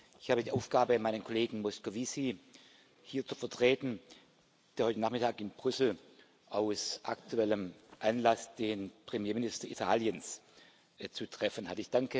Ich habe die Aufgabe, meinen Kollegen Moscovici hier zu vertreten, der heute Nachmittag in Brüssel aus aktuellem Anlass den Premierminister Italiens zu treffen hat.